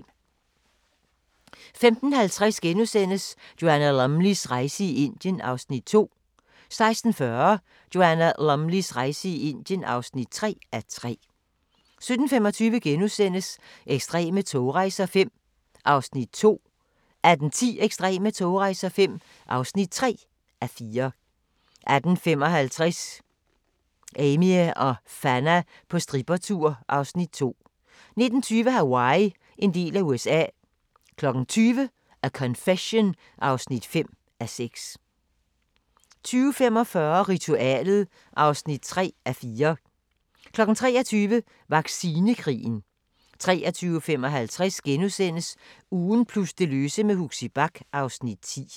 15:50: Joanna Lumleys rejse i Indien (2:3)* 16:40: Joanna Lumleys rejse i Indien (3:3) 17:25: Ekstreme togrejser V (2:4)* 18:10: Ekstreme togrejser V (3:4) 18:55: Amie og Fanna på strippertur (Afs. 2) 19:20: Hawaii – en del af USA 20:00: A Confession (5:6) 20:45: Ritualet (3:4) 23:00: Vaccinekrigen 23:55: Ugen plus det løse med Huxi Bach (Afs. 10)*